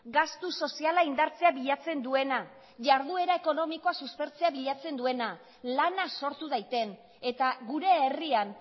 gastu soziala indartzea bilatzen duena jarduera ekonomikoa suspertzea bilatzen duena lana sortu daiten eta gure herrian